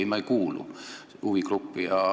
Ei, ma ei kuulu kõnealusesse huvigruppi.